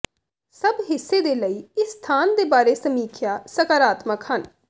ਸਭ ਹਿੱਸੇ ਦੇ ਲਈ ਇਸ ਸਥਾਨ ਦੇ ਬਾਰੇ ਸਮੀਖਿਆ ਸਕਾਰਾਤਮਕ ਹਨ